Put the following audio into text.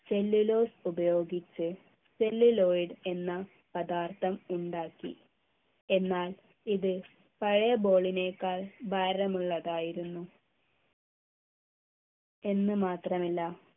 cellulose ഉപയോഗിച്ച് celluloid എന്ന പദാർത്ഥം ഉണ്ടാക്കി എന്നാൽ ഇത് പഴയ ball നേക്കാൾ ഭാരമുള്ളതായിരുന്നു എന്ന് മാത്രമല്ല